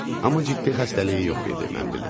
Amma ciddi xəstəliyi yox idi, mən bilən.